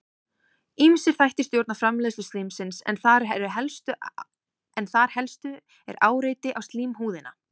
ýmsir þættir stjórna framleiðslu slímsins en þar helst er áreiti á slímhúðina